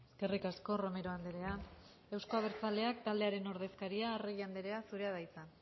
eskerrik asko romero andrea euzko abertzaleak taldearen ordezkaria arregi andrea zurea da hitza